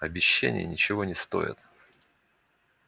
обещания ничего не стоят